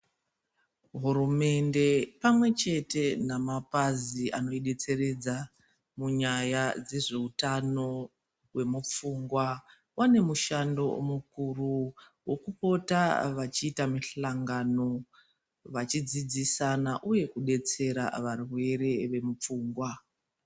Hurumende pamwechete namapazi anoidetseredza munyaya dzezveutano hwemupfungwa, vane mushando mukuru wokupota vachiita mihlangano vachidzidzisana uye kudetsera varwere vemupfungwa.